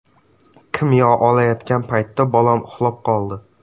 Kimyo olayotgan paytda bolam uxlab qoldi.